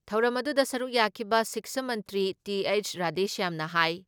ꯊꯧꯔꯝ ꯑꯗꯨꯗ ꯁꯔꯨꯛ ꯌꯥꯈꯤꯕ ꯁꯤꯛꯁꯥ ꯃꯟꯇ꯭ꯔꯤ ꯇꯤ.ꯍꯩꯆ ꯔꯥꯙꯦꯁ꯭ꯌꯥꯝꯅ ꯍꯥꯏ